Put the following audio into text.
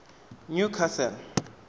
newcastle